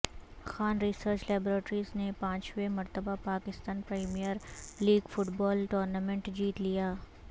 Khan research laboratories نے پانچویں مرتبہ Pakistan premier league football tournament جیت لیا